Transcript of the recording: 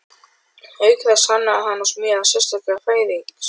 Auk þess hannaði hann og smíðaði sérstaka fæðingartöng.